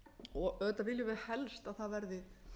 og auðvitað viljum við helst að það verði